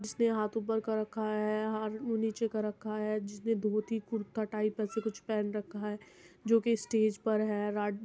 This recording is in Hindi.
जिसने हाथ ऊपर कर रखा है हाथ उ नीचे कर रखा है जिसने धोती कुर्ता टाइप ऐसे कुछ पहन रखा है जो की स्टेज पर है --